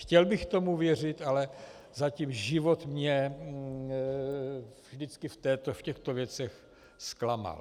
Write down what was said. Chtěl bych tomu věřit, ale zatím život mě vždycky v těchto věcech zklamal.